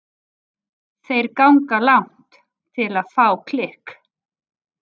Þeir ganga langt til að fá klikk.